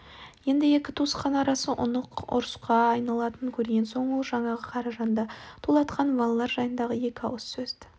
енді екі туысқан арасы анық ұрысқа айна-латынын көрген соң ол жаңағы қаражанды тулатқан балалар жайыңдағы екі ауыз сөзді